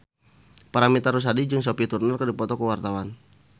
Paramitha Rusady jeung Sophie Turner keur dipoto ku wartawan